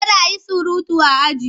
Kada a yi surutu a aji!